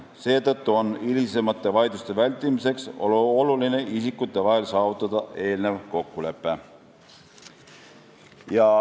Seetõttu on hilisemate vaidluste vältimiseks oluline saavutada isikute vahel eelnev kokkulepe.